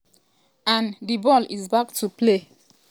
an um di ball is back to play.